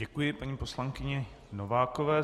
Děkuji paní poslankyni Novákové.